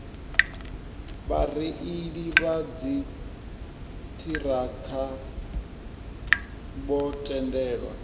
vhareili vha dziṱhirakha vho tendelwa